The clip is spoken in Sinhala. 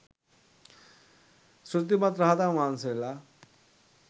ඍද්ධිමත් රහතන් වහන්සේලා